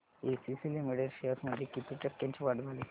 ACC limited shares मध्ये किती टक्क्यांची वाढ झाली